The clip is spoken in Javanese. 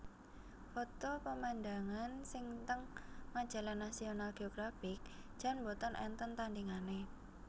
Foto pemandangan sing teng majalah National Geographic jan mboten enten tandingane